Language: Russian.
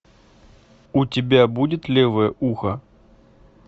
у тебя будет левое ухо